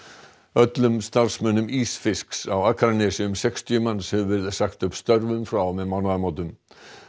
öllum starfsmönnum ísfisks á Akranesi um sextíu manns hefur verið sagt upp störfum frá og með mánaðamótum